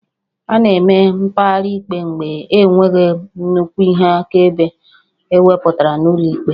A na-eme mkpegharị ikpe mgbe enweghị nnukwu ihe akaebe ewepụtara n'ụlọ ikpe